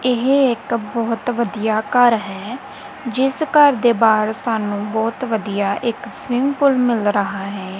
ਇਹ ਇੱਕ ਬਹੁਤ ਵਧੀਆ ਘਰ ਹੈ ਜਿਸ ਘਰ ਦੇ ਬਾਹਰ ਸਾਨੂੰ ਬਹੁਤ ਵਧੀਆ ਇੱਕ ਸਵਿਮਿੰਗ ਪੂਲ ਮਿਲ ਰਹਾ ਹੈ